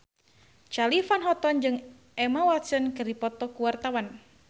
Charly Van Houten jeung Emma Watson keur dipoto ku wartawan